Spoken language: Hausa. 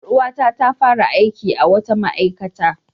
Ƴar uwata ta fara aiki a wata ma'aikata.